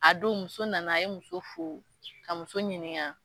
A don muso nana a ye muso fo ka muso ɲininka